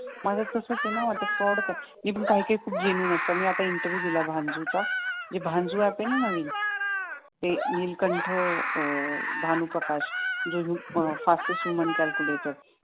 माझं तसंच आहे ना आता फ्रॉड काय ये पण काय काय खूप जेनियन असतात मी आता इंटरव्हिव्ह दिला बांजू चा जे बांजू अँप आहे ना नवीन ते नीलकंठ भानूप्रकाश जो fastest women calculator